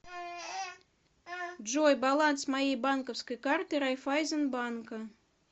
джой баланс моей банковской карты райфазенбанка